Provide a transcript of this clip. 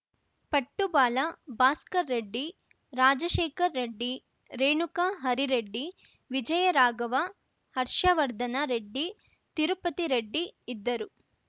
ಪಟ್ಟುಬಾಲ ಭಾಸ್ಕರ್‌ ರೆಡ್ಡಿ ರಾಜಶೇಖರ್‌ ರೆಡ್ಡಿ ರೇಣುಕಾ ಹರಿರೆಡ್ಡಿ ವಿಜಯ ರಾಘವ ಹರ್ಷವರ್ದನ ರೆಡ್ಡಿ ತಿರುಪತಿ ರೆಡ್ಡಿ ಇದ್ದರು